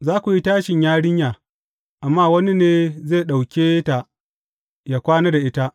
Za ku yi tashin yarinya, amma wani ne zai ɗauke ta yă kwana da ita.